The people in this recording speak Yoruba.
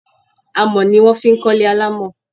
Amọ̀ ni wón fi kọ́ ilé alámọ̀.